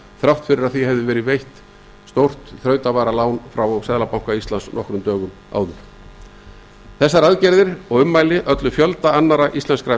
þrátt fyrir að því hefði verið veitt stórt þrautavaralán frá seðlabanka íslands nokkrum dögum áður þessar aðgerðir og ummæli ollu fjölda annarra íslenskra